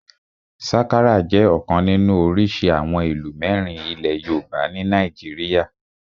Sakara jẹ́ ọ̀kan nínú orísìí àwọn ìlù mẹ́rin ilẹ̀ yoòbá ní nàìjíríyà